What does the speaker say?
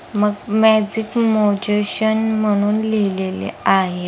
मग मॅजिक मोजेशन म्हणून लिहलेले आहे.